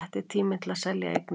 Rétti tíminn til að selja eignir